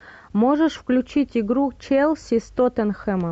можешь включить игру челси с тоттенхэмом